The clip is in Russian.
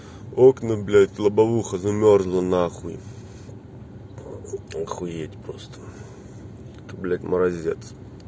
окна блять лобовуха замёрзла на хуй охуеть просто блять морозец